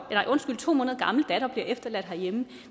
to måneder gammel datter bliver efterladt herhjemme